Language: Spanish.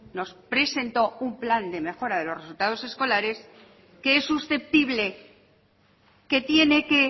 nos presentó un plan de mejora de los resultados escolares que es susceptible que tiene que